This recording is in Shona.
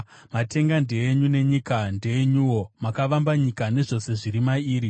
Matenga ndeenyu, nenyika ndeyenyuwo; makavamba nyika nezvose zviri mairi.